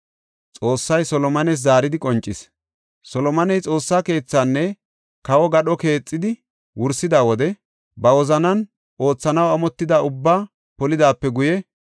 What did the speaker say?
Solomoney Xoossa keethaanne kawo gadho keexidi wursida wode ba wozanan oothanaw amotida ubbaa polidaape guye,